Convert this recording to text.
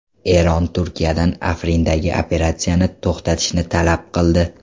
Eron Turkiyadan Afrindagi operatsiyani to‘xtatishni talab qildi.